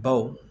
Baw